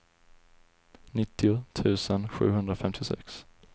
nittio tusen sjuhundrafemtiosex